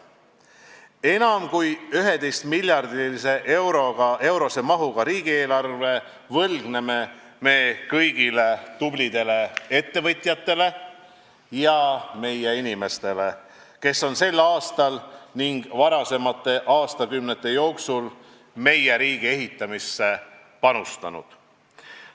Enam kui 11 miljardi eurose mahuga riigieelarve võlgneme me kõigile tublidele ettevõtjatele ja muudele inimestele, kes on sel aastal ning varasemate aastakümnete jooksul meie riigi ehitamisse panustanud.